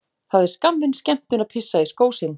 Það er skammvinn skemmtun að pissa í skó sinn.